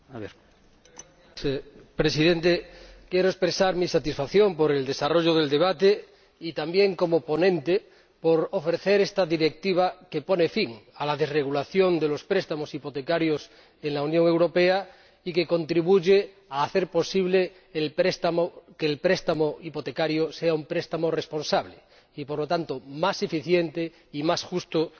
Señor Presidente, quiero expresar mi satisfacción por el desarrollo del debate y también, como ponente, por ofrecer esta Directiva que pone fin a la desregulación de los préstamos hipotecarios en la Unión Europea y que contribuye a hacer posible que el préstamo hipotecario sea un préstamo responsable y, por lo tanto, más eficiente y más justo e inclusivo.